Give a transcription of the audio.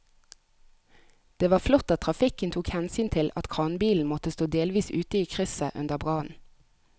Det var flott at trafikken tok hensyn til at kranbilen måtte stå delvis ute i krysset under brannen.